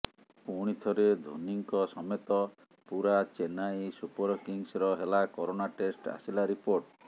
ପୁଣି ଥରେ ଧୋନୀଙ୍କ ସମେତ ପୂରା ଚେନ୍ନାଇ ସୁପରକିଙ୍ଗ୍ସର ହେଲା କରୋନା ଟେଷ୍ଟ ଆସିଲା ରିପୋର୍ଟ